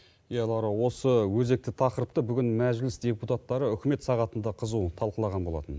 иә лаура осы өзекті тақырыпты бүгін мәжіліс депутаттары үкімет сағатында қызу талқылаған болатын